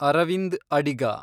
Arvind Adiga